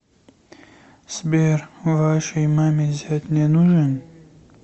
сбер вашей маме зять не нужен